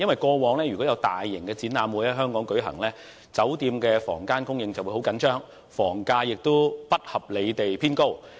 過往如果有大型展覽會在香港舉行，酒店的房間供應會十分緊張，房價亦不合理地偏高。